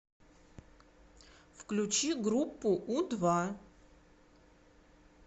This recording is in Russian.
включи группу у два